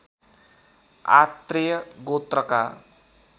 Atreya गोत्रका